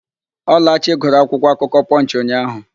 Ọlachi gụrụ akwụkwọakụkọ Pọnchị ụnyaahụ.